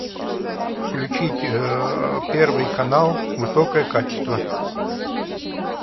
включить первый канал высокое качество